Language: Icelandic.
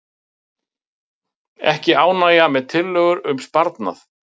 Ekki ánægja með tillögur um sparnað